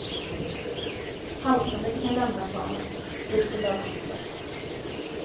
Haltande fick han lämna planen, stödd på lagkompisar.